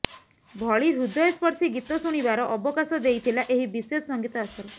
ଭଳି ହୃଦୟସ୍ପର୍ଶୀ ଗୀତ ଶୁଣିବାର ଅବକାଶ ଦେଇଥିଲା ଏହି ବିଶେଷ ସଂଗୀତ ଆସର